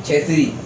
Cɛ teri